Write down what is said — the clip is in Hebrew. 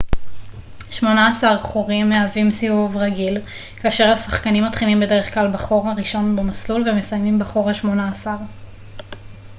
שמונה עשר חורים מהווים סיבוב רגיל כאשר השחקנים מתחילים בדרך כלל בחור הראשון במסלול ומסיימים בחור השמונה עשר